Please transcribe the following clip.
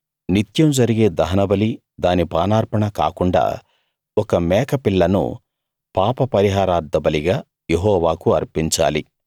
నిత్యం జరిగే దహనబలీ దాని పానార్పణ కాకుండా ఒక మేక పిల్లను పాపపరిహారార్థబలిగా యెహోవాకు అర్పించాలి